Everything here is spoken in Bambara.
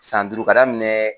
San duuru ka daminɛɛ.